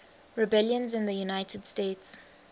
rebellions in the united states